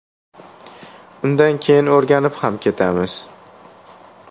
Undan keyin o‘rganib ham ketamiz.